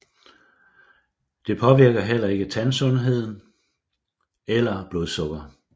Det påvirker heller ikke tandsundhed eller blodsukker